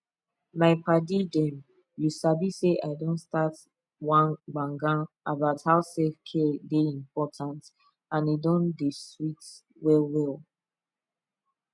my paddy dem you sabi say i don start one gbagan about how selfcare dey important and e don dey sweet well well